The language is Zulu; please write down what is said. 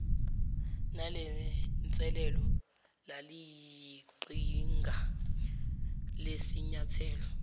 nalenselelo laliyiqhinga lesinyathelo